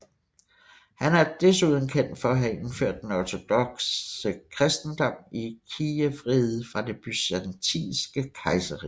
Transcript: Han er desuden kendt for at have indført den ortodokse kristendom i Kijevriget fra det byzantinske kejserrige